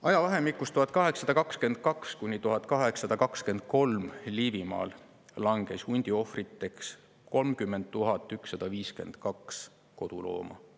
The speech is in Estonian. Aastail 1822–1823 langes Liivimaal hundi ohvriks 30 152 kodulooma.